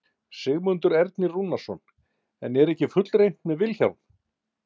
Sigmundur Ernir Rúnarsson: En er ekki fullreynt með Vilhjálm?